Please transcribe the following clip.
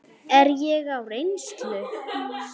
Er ég á reynslu?